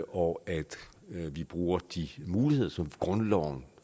og at vi bruger de muligheder som grundloven